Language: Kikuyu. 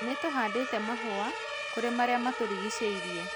Nĩ tũhandĩte mahũa kũrĩ marĩamatũrigicĩirie